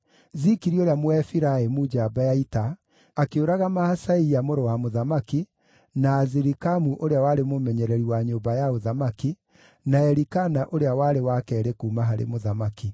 Zikiri ũrĩa Mũefiraimu njamba ya ita akĩũraga Maaseia mũrũ wa mũthamaki, na Azirikamu ũrĩa warĩ mũmenyereri wa nyũmba ya ũthamaki, na Elikana ũrĩa warĩ wa keerĩ kuuma harĩ mũthamaki.